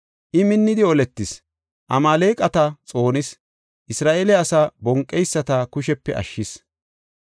I minnidi oletis; Amaaleqata xoonis; Isra7eele asaa bonqeyisata kushepe ashshis.